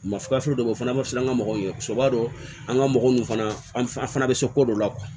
Masakafo dɔ be ye o fana b'a fisa an ka mɔgɔw ye soba an ga mɔgɔw fana an fana be se ko ko dɔw la